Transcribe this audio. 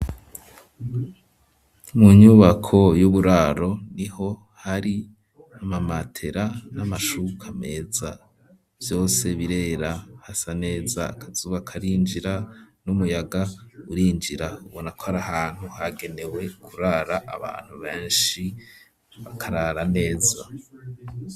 Mu nyubako y'uburaro niho hari amamatera n'amashuka meza vyose birera hasa neza akazuba karinjira n'umuyaga urinjira ubona ko arahantu hagenewe kurara abantu beshi bakarara neza.